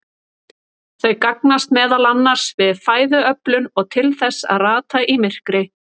Þau gagnast meðal annars við fæðuöflun og til þess að rata í myrkri.